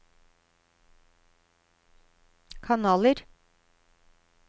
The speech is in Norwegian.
kanaler